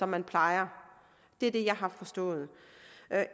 man plejer det er det jeg har forstået